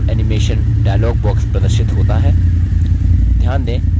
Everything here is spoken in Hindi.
custom animation dialog box प्रदर्शित होता है